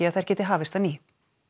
að þær geti hafist að nýju